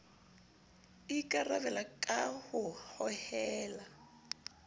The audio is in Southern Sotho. e ikarabela ka ho hohela